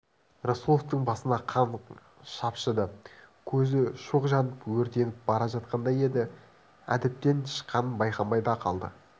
рысқұловтың басына қан шапшыды көзі шоқ жанып өртеніп бара жатқандай еді әдептен шыққанын байқамай да қалды